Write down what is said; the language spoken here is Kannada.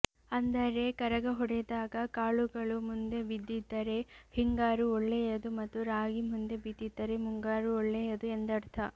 ಅಂದರೆ ಕರಗ ಹೊಡೆದಾಗ ಕಾಳುಗಳು ಮುಂದೆ ಬಿದ್ದಿದ್ದರೆ ಹಿಂಗಾರು ಒಳ್ಳೆಯದು ಮತ್ತು ರಾಗಿ ಮುಂದೆ ಬಿದ್ದಿದ್ದರೆ ಮುಂಗಾರು ಒಳ್ಳೆಯದು ಎಂದರ್ಥ